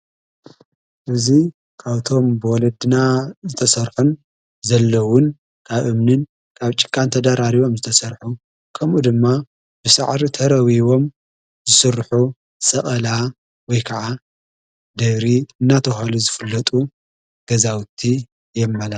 እዙይ ካውቶም በወለ ድና ዝተሠርሑን ዘለውን ካብ እምንን ካብ ጭቃ እንተዳራሪቦም ዝተሠርሑ ከምኡ ድማ ብሣዕሪ ተረዊቦም ዝሥርሑ ሰቐላ ወይ ከዓ ደብሪ እናተሃሉ ዘፍለጡ ገዛውቲ የመላክት።